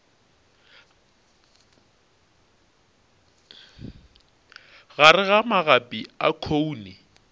gare ga magapi a khoune